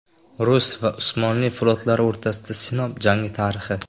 Rus va Usmonli flotlari o‘rtasidagi Sinop jangi tarixi.